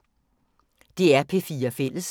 DR P4 Fælles